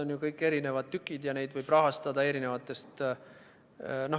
Need kõik on eri tükid ja neid võib rahastada eri allikatest.